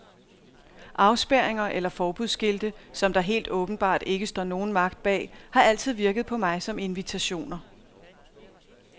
Afspærringer eller forbudsskilte, som der helt åbenbart ikke står nogen magt bag, har altid virket på mig som invitationer.